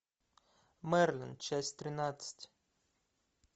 мерлин часть тринадцать